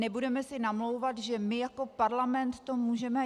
Nebudeme si namlouvat, že my jako parlament to můžeme...